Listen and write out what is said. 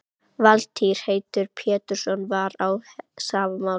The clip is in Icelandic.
Valtýr heitinn Pétursson var á sama máli.